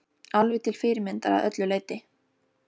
Alveg til fyrirmyndar að öllu leyti!